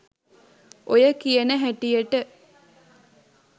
ඔය කියන හැටියට